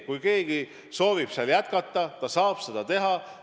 Kui keegi soovib seal jätkata, ta saab seda teha.